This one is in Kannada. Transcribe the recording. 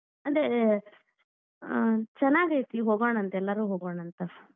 ಅದೇ ಆ ಚೆನ್ನಾಗೈತಿ ಹೋಗೋಣಾಂತ್ ಎಲ್ಲಾರೂ ಹೋಗೋಣಾಂತ್.